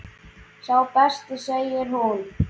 Sá besti segir hún.